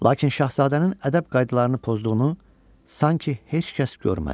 Lakin şahzadənin ədəb qaydalarını pozduğunu sanki heç kəs görmədi.